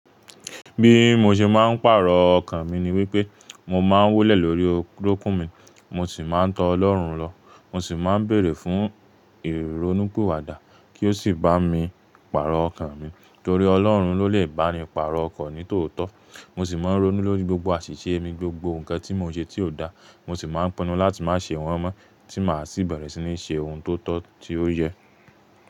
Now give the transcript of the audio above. Bí mo ṣe máa ń pàrọ̀ ọkàn mi ni wípé mo máa ń wólẹ̀ lórí orókún mi, mo sì máa ń tọ́ Ọlọ́run lọ. Mo sì máa ń bèèrè fún ìrónúpiwa dá kí ó sì bá mi pàrọ̀ ọkàn mi, torí Ọlọ́run ló lè bá ni pàrọ̀ ọkàn ni tòótọ́. Mo sì máa ń ronú lórí gbogbo àṣìṣe mi, gbogbo nǹkan tí mo ṣe tí ó dà. Mo sì máa ń pinnu láti má ṣe wọ́n mọ́ tí màá sì bẹ̀rẹ̀ sí ní ṣe ohun tó tọ́ tí ó yẹ.